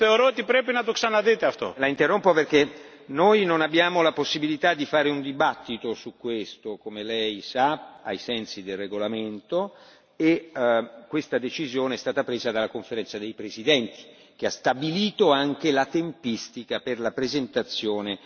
La interrompo perché noi non abbiamo la possibilità di fare un dibattito su questo, come Lei sa, ai sensi del regolamento e questa decisione è stata presa dalla Conferenza dei presidenti che ha stabilito anche la tempistica per la presentazione degli emendamenti.